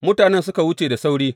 Mutanen suka wuce da sauri.